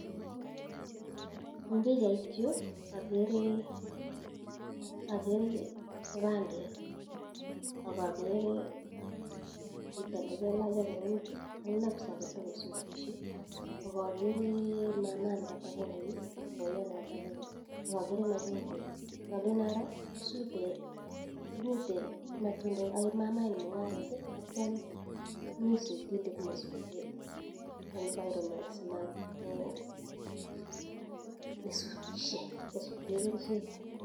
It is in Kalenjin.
Eng pichait yuu akeree kipandet akakeree chitoo nekelech apronit ak knapsakit akosutishe akakeree mamaa nekatepongony ak baiyot nekatepongony akakeree machungwek ngalen aroo komite matundet ae mamaa inii mungaret atya komii sutindet nee sutee environment nee sutishe koo sutee kerchek